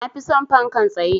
Na fi son fankan tsaye.